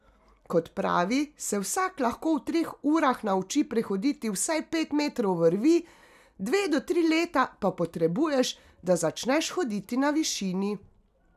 Kot pravi, se vsak lahko v treh urah nauči prehoditi vsaj pet metrov vrvi, dve do tri leta pa potrebuješ, da začneš hoditi na višini.